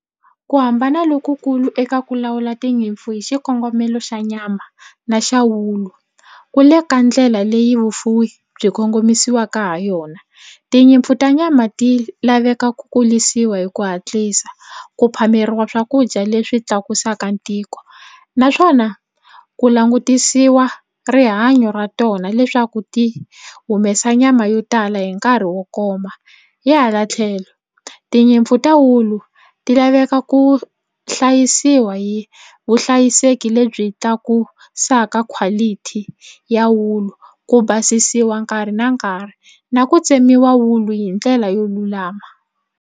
Ku hambana lokukulu eka ku lawula tinyimpfu hi xikongomelo xa nyama na xa wulu ku le ka ndlela leyi vufuwi byi kongomisiweke ha yona. Tinyimpfu ta nyama ti laveka ku kulisiwa hi ku hatlisa ku phameriwa swakudya leswi tlakusaka ntiko naswona ku langutisiwa rihanyo ra tona leswaku ti humesa nyama yo tala hi nkarhi wo koma hi hala tlhelo tinyimpfu ta wulu ti laveka ku hlayisiwa hi vuhlayiseki lebyi tlakusaka quality ya wulu ku basisiwa nkarhi na nkarhi na ku tsemiwa wulu hi ndlela yo lulama.